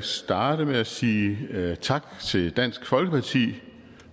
starte med at sige tak til dansk folkeparti